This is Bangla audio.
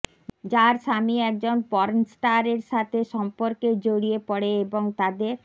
যার স্বামী একজন পর্ণস্টার এর সাথে সম্পর্কে জড়িয়ে পড়ে এবং তাদের